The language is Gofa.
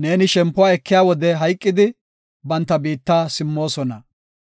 neeni shempuwa ekiya wode hayqidi, banta biitta simmoosona.